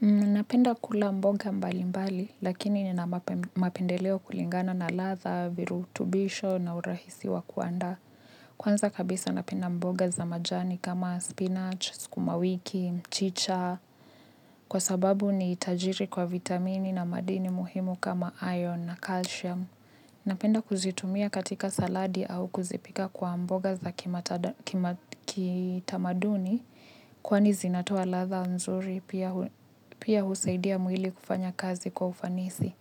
Napenda kula mboga mbali mbali, lakini ni na mapendeleo kulingana na latha, virutubisho na urahisiwa kuandaa. Kwanza kabisa napenda mboga za majani kama spinach, skumawiki, mchicha, kwa sababu ni tajiri kwa vitamini na madini muhimu kama ion na calcium. Napenda kuzitumia katika saladi au kuzipika kwa mboga za kitamaduni kwani zinatoa latha nzuri pia husaidia mwili kufanya kazi kwa ufanisi.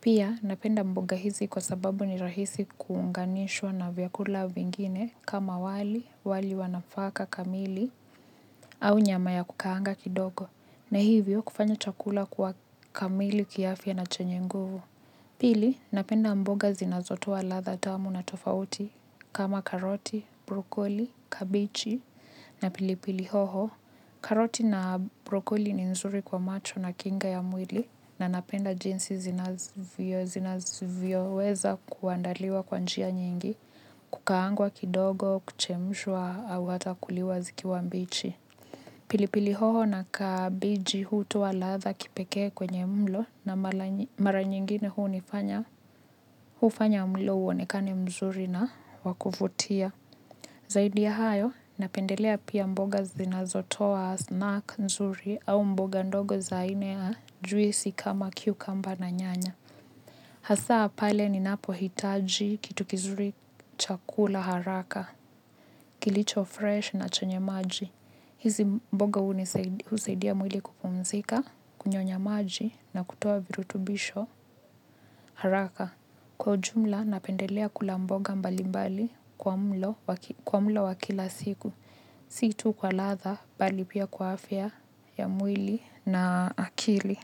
Pia napenda mboga hizi kwa sababu ni rahisi kuunganishwa na vyakula vingine kama wali wali wanafaka kamili au nyama ya kukaanga kidogo na hivyo kufanya chakula kuwa kamili kiafya na chenye nguvu. Pili, napenda mboga zinazotoa latha tamu na tofauti kama karoti, brokoli, kabichi na pilipili hoho. Karoti na brokoli ni nzuri kwa macho na kinga ya mwili na napenda jinsi zinavyo weza kuandaliwa kwanjia nyingi, kukaangwa kidogo, kuchemshwa au hata kuliwa zikiwa mbichi. Pili pili hoho na kabiji hutoa latha kipekee kwenye mlo na mara nyingine hunifanya hufanya mlo uonekane mzuri na wakuvutia. Zaidi ya hayo napendelea pia mboga zinazotoa snack nzuri au mboga ndogo za aina ya juisi kama kiu kamba na nyanya. Hasaa pale ni napo hitaji kitu kizuri chakula haraka, kilicho fresh na chenye maji. Hizi mboga usaidia mwili kupumzika, kunyonya maji na kutoa virutubisho haraka. Kwa ujumla napendelea kulamboga mbali mbali kwa mlo wa kila siku. Situ kwa latha bali pia kwa afya ya mwili na akili.